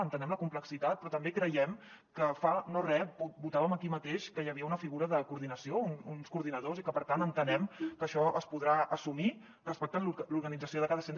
entenem la complexitat però també creiem que fa no re votàvem aquí mateix que hi havia una figura de coordinació uns coordinadors i per tant entenem que això es podrà assumir respectant l’organització de cada centre